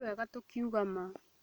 Nĩ wega tũkiuga ma